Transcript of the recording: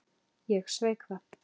Ég sveik það.